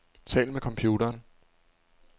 Tal med computeren.